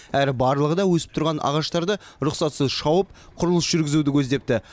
әрі барлығы да өсіп тұрған ағаштарды рұқсатсыз шауып құрылыс жүргізуді көздепті